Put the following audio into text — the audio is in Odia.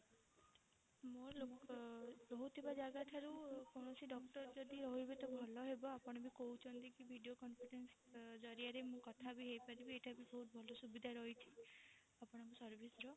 ମୁଁ ଲୋକ ରହୁଥିବା ଜାଗା ଠାରୁ କୌଣସି doctor ଯଦି ରହିବେ ତ ଭଲ ହେବ ଆପଣ ବି କହୁଛନ୍ତି କି video conference ଜରିଆରେ ମୁଁ କଥା ବି ହେଇପାରିବି ଏଇଟା ବି ବହୁତ ଭଲ ସୁବିଧା ରହିଛି ଆପଣଙ୍କ service ର